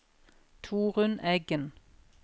Torunn Eggen